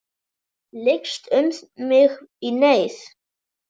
Lykst um mig í neyð.